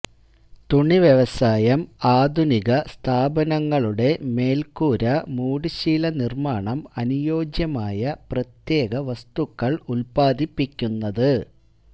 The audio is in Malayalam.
തുണി വ്യവസായം ആധുനിക സ്ഥാപനങ്ങളുടെ മേൽക്കൂര മൂടുശീല നിർമ്മാണം അനുയോജ്യമായ പ്രത്യേക വസ്തുക്കൾ ഉത്പാദിപ്പിക്കുന്നത്